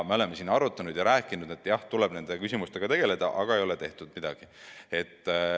Me oleme siin arutanud, et jah, nende küsimustega tuleb tegeleda, aga tehtud ei ole midagi.